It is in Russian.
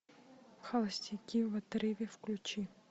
холостяки в отрыве включи